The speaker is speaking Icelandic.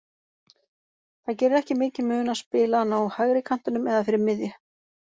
Það gerir ekki mikinn mun að spila hann á hægri kantinum eða fyrir miðju.